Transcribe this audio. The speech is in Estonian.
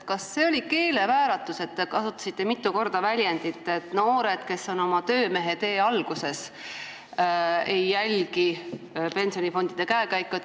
Kas see oli keelevääratus, kui te kasutasite mitu korda väljendit, et noored, kes on oma töömehetee alguses, ei jälgi pensionifondide käekäiku.